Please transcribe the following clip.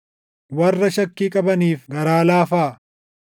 Warra shakkii qabaniif garaa laafaa;